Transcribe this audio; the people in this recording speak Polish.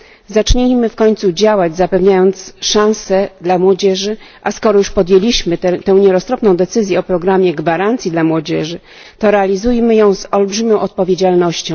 Zacznijmy w końcu działać, zapewniając szanse młodzieży, a skoro już podjęliśmy tę nieroztropną decyzję o programie gwarancji dla młodzieży, to realizujmy ją z olbrzymią odpowiedzialnością.